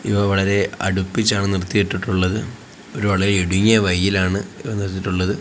ഇവ വളരെ അടുപ്പിച്ചാണ് നിർത്തിയിട്ടിട്ടുള്ളത് ഒരു വളരെ ഇടുങ്ങിയ വയിയിലാണ് നിർത്തിയിട്ടുള്ളത്.